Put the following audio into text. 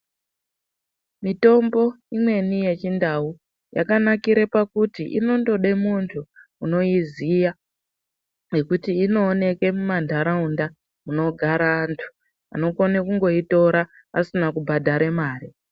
Mitombo imweni yechindau yakanakire pakuti inondode muntu unoiziya nekuti inooneke mumantaraunda munogare antu anokone kungoitora asina kubhadhare mare.